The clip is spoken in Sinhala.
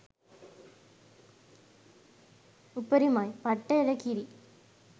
උපරිමයි පට්ට එළකිරි